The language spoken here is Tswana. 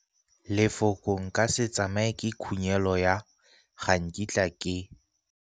Lefoko nka se tsamaye ke khunyelô ya ga nkitla ke.